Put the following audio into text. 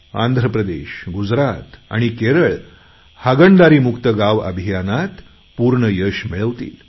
आंध्र प्रदेश गुजरात आणि केरळ हागणदारी मुक्त गाव अभियानात पूर्ण यश मिळवतील